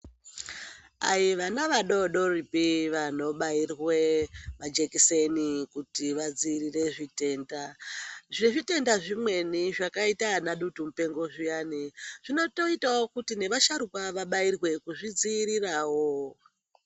Aivana vadodoripi vanobairwe majekiseni kuti vadziirire zvitenda .Zvezvitenda zvimweni zvakaita anadutumupengo zviyani, zvinotoitawo kuti nevasharuka vabairwe, kuzvidziirirawo.